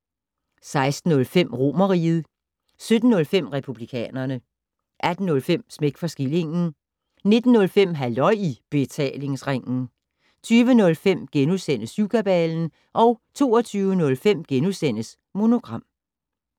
16:05: Romerriget 17:05: Republikanerne 18:05: Smæk for skillingen 19:05: Halløj i Betalingsringen 20:05: Syvkabalen * 22:05: Monogram *